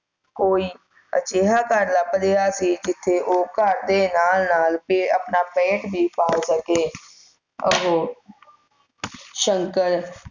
ਕੋਈ ਅਜਿਹਾ ਘਰ ਲੱਭ ਰਿਹਾ ਸੀ ਜਿਥੇ ਉਹ ਘਰ ਦੇ ਨਾਲ ਨਾਲ ਤੇ ਆਪਣਾ ਪੇਟ ਵੀ ਪਾਲ ਸਕੇ ਓਹੋ ਸ਼ੰਕਰ